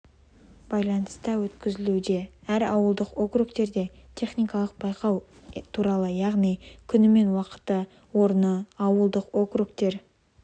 байланыста өткізілуде әр ауылдық округтерде техникалық байқау туралы яғни күні мен уақыты орны ауылдық округтер